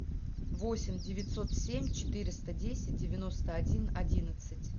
восемь девятьсот семь четыреста десять девяносто один одиннадцать